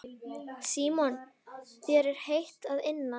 Símon: Þér er heitt að innan?